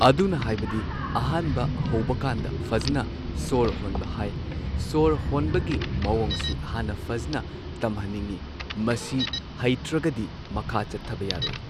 ꯑꯗꯨꯅ ꯍꯥꯏꯕꯗꯤ ꯑꯍꯥꯟꯕ ꯍꯧꯕꯀꯥꯟꯗ ꯐꯖꯟꯅ ꯁꯣꯔ ꯍꯣꯟꯕ ꯍꯥꯏ꯫ ꯁꯣꯔ ꯍꯣꯟꯕꯒꯤ ꯃꯑꯣꯡꯁꯤ ꯍꯥꯟꯅ ꯐꯖꯟꯅ ꯇꯝꯍꯟꯅꯤꯡꯉꯤ ꯃꯁꯤ ꯍꯩꯇ꯭ꯔꯒꯗꯤ ꯃꯈꯥ ꯆꯠꯊꯕ ꯌꯥꯔꯣꯏ꯫